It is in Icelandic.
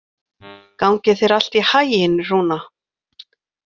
Gangi þér allt í haginn, Rúna.